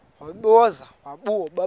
wesibhozo wabhu bha